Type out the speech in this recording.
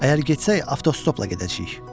Əgər getsək, avtostopla gedəcəyik.